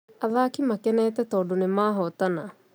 Athaki makenete tondũnĩ nĩmahotana